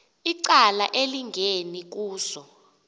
icala elingeni kuzo